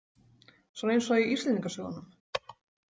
Svona eins og í Íslendingasögunum.